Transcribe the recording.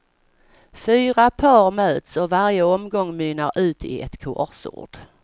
Fyra par möts och varje omgång mynnar ut i ett korsord.